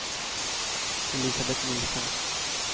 Elisabet Nielsen